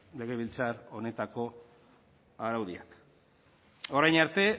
legebiltzar honetako araudiak orain arte